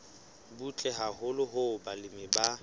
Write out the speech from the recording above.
butle haholo hoo balemi ba